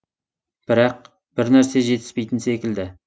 бірақ бір нәрсе жетіспейтін секілді